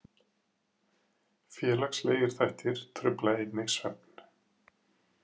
Félagslegir þættir trufla einnig svefn.